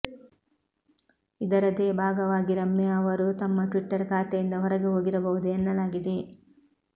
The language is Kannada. ಇದರದೇ ಭಾಗವಾಗಿ ರಮ್ಯಾ ಅವರೂ ತಮ್ಮ ಟ್ವಿಟ್ಟರ್ ಖಾತೆಯಿಂದ ಹೊರಗೆ ಹೋಗಿರಬಹುದು ಎನ್ನಲಾಗಿದೆ